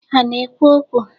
Ha na-ekwu okwu?